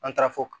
An taara fɔ